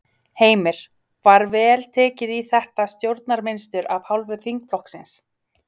Heimir: Var vel tekið í þetta stjórnarmynstur af hálfu þingflokksins?